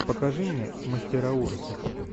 покажи мне мастера ужасов